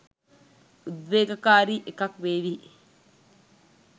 උදේවේගකාරී එකක් වේවි